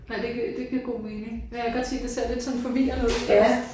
Nej det giver det giver god mening. Jeg kan godt se det ser lidt sådan forvirrende ud først